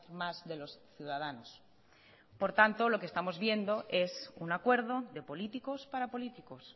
más de los ciudadanos por tanto lo que estamos viendo es un acuerdo de políticos para políticos